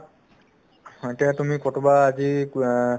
এতিয়া তুমি ক'ৰবাত আজি কো আ